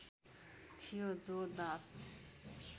थियो जो दास